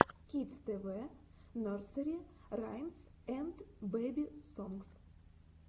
кидс тэ вэ нерсери раймс энд бэби сонгс